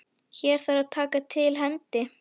Hér þarf að taka til hendi.